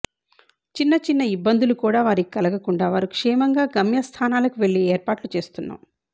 చిన్న చిన్న ఇబ్బందులు కూడా వారికి కలగకుండా వారు క్షేమంగా గమ్య స్థానాలకు వెళ్లే ఏర్పాట్లు చేస్తున్నాం